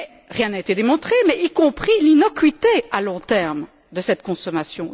Rien n'a été démontré, y compris l'innocuité à long terme de cette consommation.